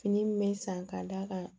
Fini min bɛ san k'a d'a kan